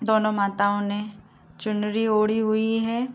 दोनो माताओं ने चुनरी ओड़ी हुई है।